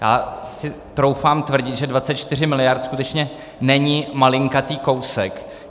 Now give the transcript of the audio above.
Já si troufám tvrdit, že 24 miliard skutečně není malinkatý kousek.